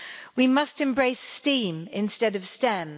We must embrace STEAM' instead of STEM.